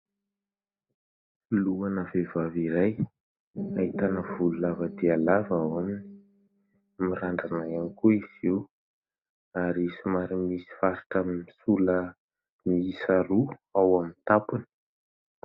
Lohana vehivavy iray ahitana volo lava dia lava ao aminy. Mirandrana ihany koa izy io ary somary misy faritra misola miisa roa ao amin'ny tampony.